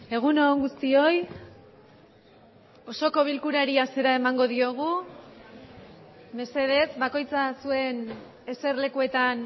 egun on guztioi osoko bilkurari hasiera emango diogu mesedez bakoitza zuen eserlekuetan